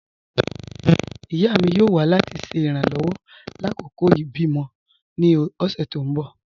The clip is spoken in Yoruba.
Ìyá mi yóò wà láti ṣe irànlowọ̀ lákọkọ̀ ibi-mọ̀ mi ní ọ̀ṣẹ̀ tó n bọ́